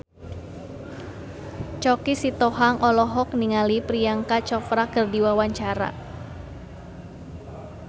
Choky Sitohang olohok ningali Priyanka Chopra keur diwawancara